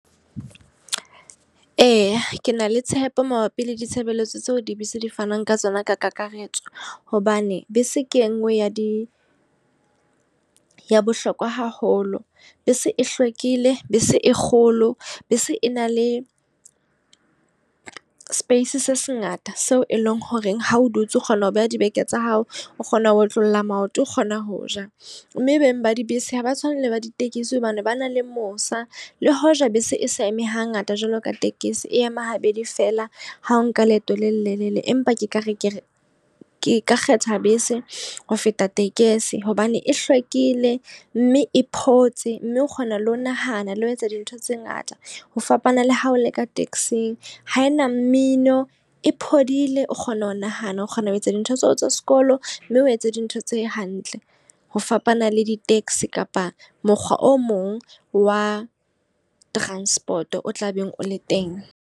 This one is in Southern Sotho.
Eya, ke na le tshepo mabapi le ditshebeletso tseo dibese di fanang ka tsona ka kakaretso. Hobane bese ke e nngwe ya di ya bohlokwa haholo. Bese e hlwekile, bese e kgolo, bese e na le space se sengata seo e leng horeng ha o dutse o kgona ho beha dibeke tsa hao, o kgona ho otlolla maoto o kgona ho ja. Mme beng ba dibese ha ba tshwane le ba ditekesi hobane ba na le mosa. Le hoja bese e sa eme ha ngata jwalo ka tekesi. E ema ha bedi fela ha o nka leeto le lelelele. Empa ke ka re ke re ke ka kgetha bese ho feta tekesi. Hobane e hlwekile, mme e phomotse, mme o kgona le ho nahana le ho etsa dintho tse ngata. Ho fapana le ha o le ka taxi-ng. Ha ena mmino, e phodile, o kgona ho nahana, o kgona ho etsa dintho tseo tsa sekolo. Mme o etse dintho tse hantle ho fapana le di-taxi kapa mokgwa o mong wa transport o tla beng o le teng.